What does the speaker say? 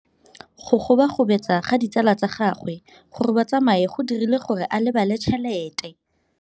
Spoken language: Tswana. Go gobagobetsa ga ditsala tsa gagwe, gore ba tsamaye go dirile gore a lebale tšhelete.